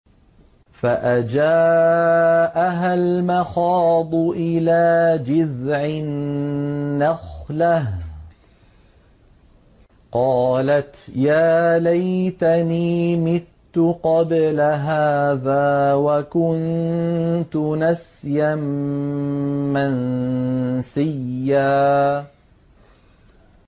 فَأَجَاءَهَا الْمَخَاضُ إِلَىٰ جِذْعِ النَّخْلَةِ قَالَتْ يَا لَيْتَنِي مِتُّ قَبْلَ هَٰذَا وَكُنتُ نَسْيًا مَّنسِيًّا